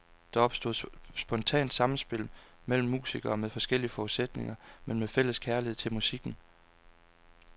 Der opstod spontant sammenspil mellem musikere med forskellige forudsætninger, men med fælles kærlighed til musikken.